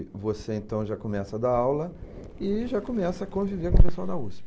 você, então, já começa a dar aula e já começa a conviver com o pessoal da USP.